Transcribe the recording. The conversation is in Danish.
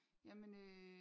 Jamen øh